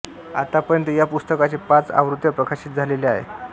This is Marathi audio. आत्तापर्यत या पुस्तकाचे पाच आवृत्त्या प्रकाशित झालेले आहे